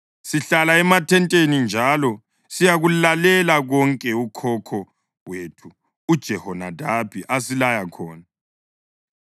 Sihlala emathenteni njalo siyakulalela konke ukhokho wethu uJehonadabi asilaya khona.